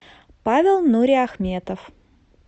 павел нуриахметов